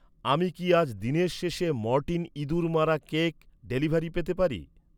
আমি কি আজ দিনের শেষে মরটিন ইঁদুর মারা কেক ডেলিভারি পেতে পারি?